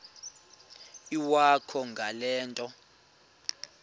iwakho ngale nto